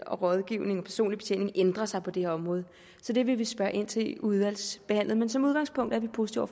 rådgivning og personlig betjening ændrer sig på det her område så det vil vi spørge ind til i udvalgsbehandlingen men som udgangspunkt er vi positive